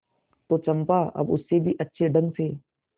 तो चंपा अब उससे भी अच्छे ढंग से